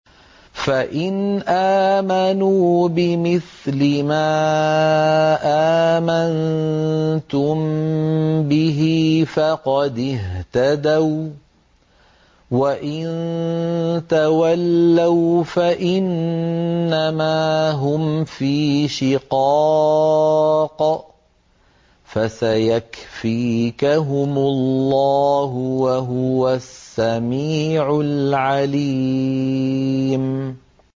فَإِنْ آمَنُوا بِمِثْلِ مَا آمَنتُم بِهِ فَقَدِ اهْتَدَوا ۖ وَّإِن تَوَلَّوْا فَإِنَّمَا هُمْ فِي شِقَاقٍ ۖ فَسَيَكْفِيكَهُمُ اللَّهُ ۚ وَهُوَ السَّمِيعُ الْعَلِيمُ